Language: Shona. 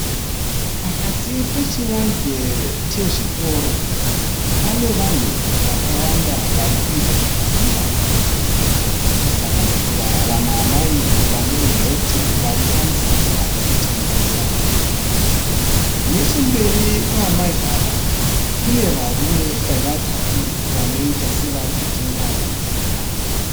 Pakati pechivanze chezvitoro pane vanhu vakawanda vari kuita zvakasiyana, kusanganisira vamwe amai vane heti vari pamusika vari kutengesa, nechemberi kwamai ava kune varume vatatu vanoita sevari kutenga pamusika apa.